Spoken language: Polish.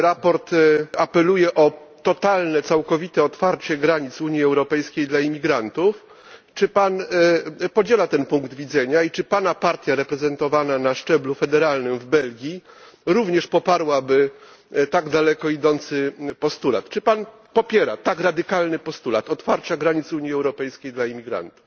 W sprawozdaniu apeluje się o totalne, całkowite otwarcie granic Unii Europejskiej dla imigrantów. Czy Pan podziela ten punkt widzenia i czy Pana partia reprezentowana na szczeblu federalnym w Belgii również poparłaby tak daleko idący postulat? Czy Pan popiera tak radykalny postulat otwarcia granic Unii Europejskiej dla imigrantów?